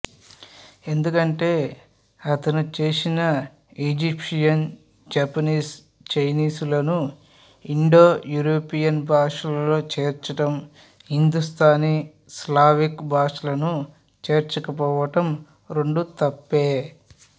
ఎందుకంటే అతను చేసిన ఈజిప్షియన్ జపనీస్ చైనీసులను ఇండోయూరోపియన్ భాషలలో చేర్చడం హిందూస్థానీ స్లావిక్ భాషలను చేర్చకపోవడం రెండూ తప్పే